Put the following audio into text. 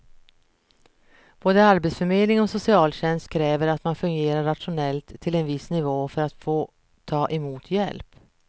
Både arbetsförmedling och socialtjänst kräver att man fungerar rationellt till en viss nivå för att få ta emot hjälp.